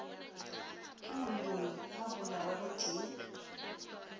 ke moloi a bolawe gotee